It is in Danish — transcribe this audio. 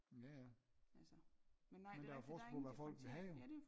Jaja men der er jo forskel på vil have jo